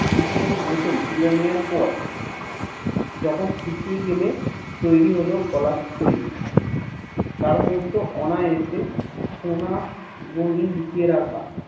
চিতের বোতল তুলে নেওয়ার পর যখন শুকিয়ে গেলে তৈরি হল গলার থলি তারমধ্যে অনয়েসে সোনা গুলি লুকিয়ে রাখা